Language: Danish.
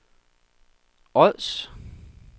Ods